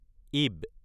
ইব